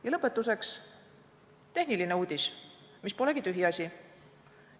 Ja lõpetuseks tehniline uudis, mis polegi tühiasi.